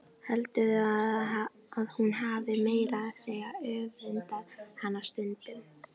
Heldur að hún hafi meira að segja öfundað hana stundum.